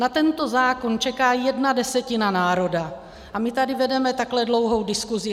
Na tento zákon čeká jedna desetina národa a my tady vedeme takhle dlouhou diskusi.